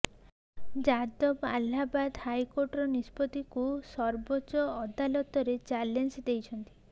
ଯାଦବ ଆହ୍ଲାବାଦ ହାଇକୋର୍ଟର ନିଷ୍ପତ୍ତିକୁ ସର୍ବୋଚ୍ଚ ଅଦାଲତରେ ଚ୍ୟାଲେଞ୍ଜ ଦେଇଛନ୍ତି